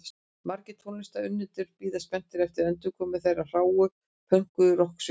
Margir tónlistarunnendur bíða spenntir eftir endurkomu þessarar hráu og pönkuðu rokksveitar.